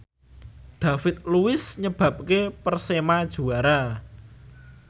David Luiz nyebabke Persema juara